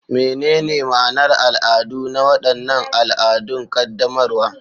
Menene ma'anar al'adu na waɗannan al'adun qaddamarwa?